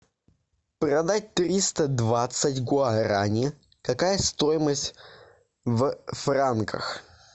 продать триста двадцать гуарани какая стоимость в франках